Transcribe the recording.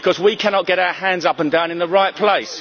Because we cannot get our hands up and down in the right place.